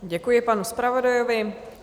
Děkuji panu zpravodajovi.